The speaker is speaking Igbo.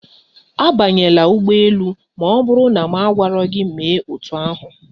Abanyela ụgbọ elu ma ọ bụrụ na m agwaro gị mee otú ahụ